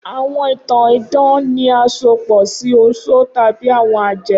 Awọn itan idan ni asopọ si oṣó tabi awọn ajẹ.